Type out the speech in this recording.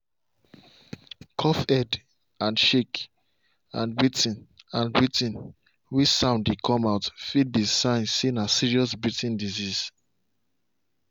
coughhead dey shake and breathing and breathing way sound dey come out fit be sign say na serious breathing disease.